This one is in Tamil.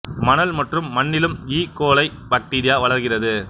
மணல் மற்றும் மண் ணிலும் ஈ கோலை பாக்டீரியா வளர்கிறது